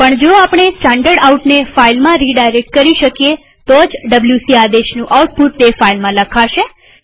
પણ જો આપણે standardoutને ફાઈલમાં રીડાયરેક્ટ કરી શકીએ તો જ ડબ્લ્યુસી આદેશનું આઉટપુટ તે ફાઈલમાં લખાશે